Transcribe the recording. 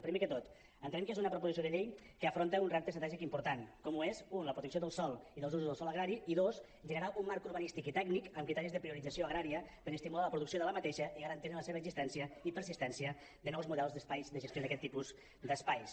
primer de tot entenem que és una proposició de llei que afronta un repte estratègic important com ho és u la protecció del sòl i dels usos del sòl agrari i dos generar un marc urbanístic i tècnic amb criteris de priorització agrària per estimular ne la producció i garantir ne l’existència i persistència de nous models d’espais de gestió d’aquest tipus d’espais